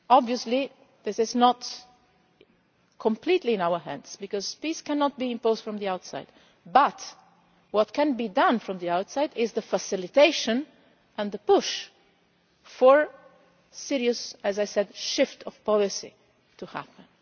Obviously this is not completely in our hands because peace cannot be imposed from the outside, but what can be done from the outside is the facilitation and the push for a serious shift of policy to happen.